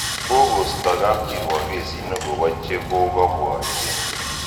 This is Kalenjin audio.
Kokosta kapkirwom kesit nekobo chekokobwotyin